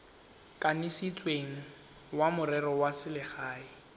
kanisitsweng wa merero ya selegae